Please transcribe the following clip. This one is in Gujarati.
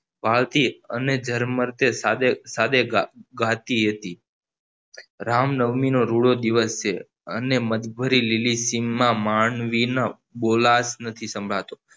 વાડતી અને ઝરમર્તે સાદે ગાતી હતી રામનવમી નો રૂડો દિવસ છે અને મદભરે લીલી શીંગ માં માનવીનો બોલાશ નથી સંભળાતો